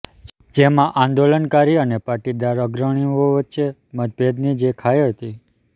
જેમાં આંદોલનકારી અને પાટીદાર અગ્રણીઓ વચ્ચેની મતભેદની જે ખાઇ હતી